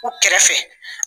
U kɛrɛfɛ